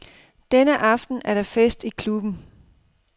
Denne aften er der fest i klubben.